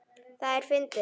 Það er fyndið.